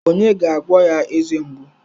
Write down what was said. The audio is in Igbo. Onye ga-agwọ ya eze mgbu?